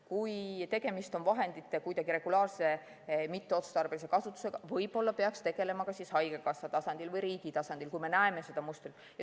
Kui tegemist on vahendite regulaarse mitteotstarbelise kasutusega, siis võib-olla peaks tegelema ka haigekassa tasandil või riigi tasandil, kui me näeme seda mustrit.